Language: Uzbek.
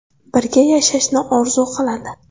Birga yashashni orzu qiladi.